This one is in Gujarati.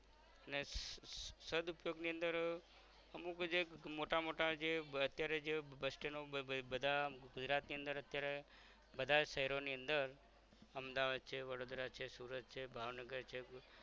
ને સદ ઉપયોગ ની અંદર અર અમુક જે મોટા મોટા જે અત્યારે જે bus stand ડો જે બધા ગુજરાત ની અંદર અત્યારે બધા શ્હેરોની અંદર અમદાવાદ છે વડોદરા છે સુરત છે ભાવનગર છે